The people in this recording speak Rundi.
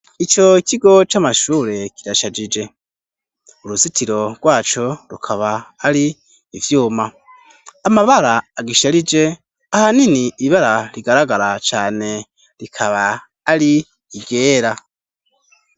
Ico kigo c'amashure kirashajije uruzitiro rwaco rukaba ari ivyuma amabara agisharije ahanini ibara rigaragara cane rikaba ari iryera.